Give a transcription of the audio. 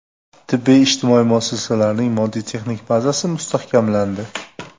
Tibbiy-ijtimoiy muassasalarning moddiy-texnika bazasi mustahkamlandi.